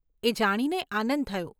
એ જાણીને આનંદ થયો.